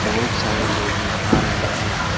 बहुत सारे लोग नहा रहे हैं।